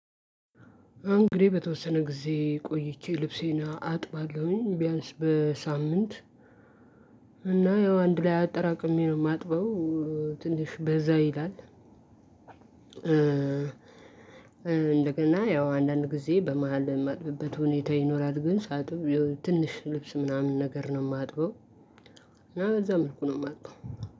እንግዲህ በተወሰነ ጊዜ ቆይቼ ልብሴን አጥባለሁኝ ቢያንስ በሳምንት እና ያው አንድ ላይ አጠራቅሜ ነው ማጥበው። ትንሽ በዛ ይላል። እንደገና ያው አንዳንድ ጊዜ በመሃል የማጥብበት ሁኔታ ይኖራል። ግን ሳጥብ ትንሽ ልብስ ምናምን ነገር ነው ማጥበው። እና በዛ መልኩ ነው ማጥበው።